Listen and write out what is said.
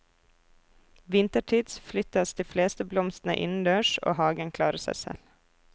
Vintertids flyttes de fleste blomstene innendørs, og hagen klarer seg selv.